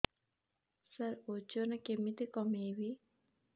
ସାର ଓଜନ କେମିତି କମେଇବି